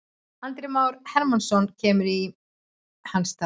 Andri Már Hermannsson kemur inn í hans stað.